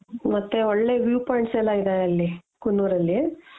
ಮತ್ತೆ ಒಳ್ಳೆ view points ಎಲ್ಲಾ ಇದೆ ಅಲ್ಲಿ , ಕುನ್ನೂರಲ್ಲಿ .